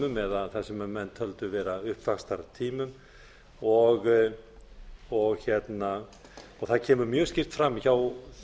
bólutímum eða þess sem menn töldu vera upp vaxtartímum og það kemur mjög skýrt fram hjá þessum